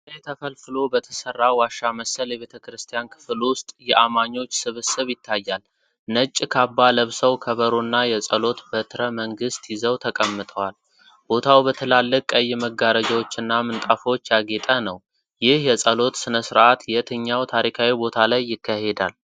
ድንጋይ ተፈልፍሎ በተሰራ ዋሻ መሰል የቤተክርስቲያን ክፍል ውስጥ የአማኞች ስብስብ ይታያል። ነጭ ካባ ለብሰው ከበሮና የጸሎት በትረ መንግሥት ይዘው ተቀምጠዋል። ቦታው በትላልቅ ቀይ መጋረጃዎችና ምንጣፎች ያጌጠ ነው፤ ይህ የጸሎት ሥነ-ሥርዓት የትኛው ታሪካዊ ቦታ ላይ ይካሄዳል?